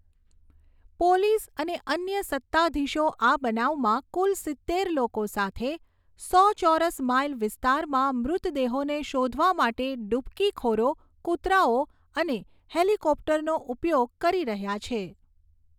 Police અને અન્ય સત્તાધીશો આ બનાવમાં કુલ સિત્તેર લોકો સાથે સો ચોરસ માઇલ વિસ્તારમાં મૃતદેહોને શોધવા માટે ડૂબકીખોરો, કૂતરાઓ અને હેલિકોપ્ટરોનો ઉપયોગ કરી રહ્યા છે.